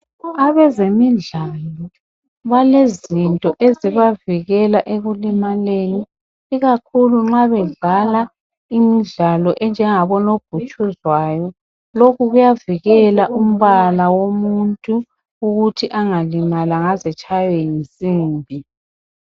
Abezemidlalo balezinto ezibavikela ekulimaleni Ikakhulu nxa bedlala imidlalo enjengabo nobhutshuzwayo .Lokhu kuyavikela umbala womuntu ukuthi angalimali angaze etshaywe yinsimbi .